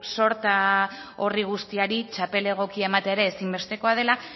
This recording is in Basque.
sorta horri guztiari txapel egokia ematea ere ezinbestekoa dela